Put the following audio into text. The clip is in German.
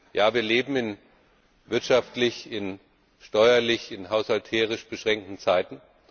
Ja, wir leben in wirtschaftlich, in steuerlich, in haushalterisch beschränkten Zeiten.